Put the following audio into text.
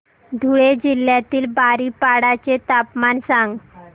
धुळे जिल्ह्यातील बारीपाडा चे तापमान सांग